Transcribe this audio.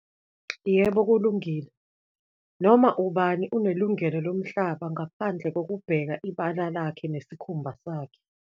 Yebo kulungile, noma ubani unelungelo lomhlaba ngaphandle kokubheka ibala lakhe nesikhumba sakhe.